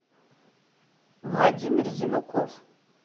владимир зинуков